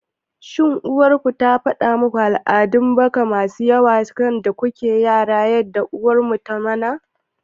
shin ko uwar ku ta faɗa muku al'adun baka masu yawa da kuke yara kamar yadda uwar mu ta mana?